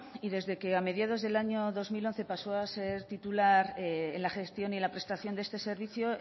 y desde que a mediados del año dos mil once pasó a ser titular en la gestión y prestación de este servicio